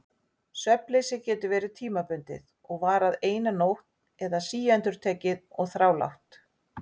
Svefnleysið getur verið tímabundið og varað eina nótt eða síendurtekið og þrálátt.